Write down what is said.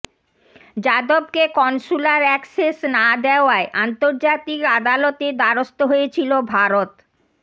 যাদবকে consular access না দেওয়ায় আন্তর্জাতিক আদালতের দ্বারস্থ হয়েছিল ভারত